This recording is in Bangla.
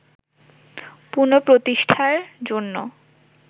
পুন:প্রতিষ্ঠার জন্য